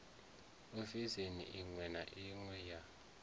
ofisini iṅwe na iṅwe ya